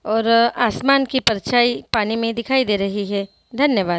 और आसमान की परछाई पानी में दिखाई दे रही है धन्यवाद!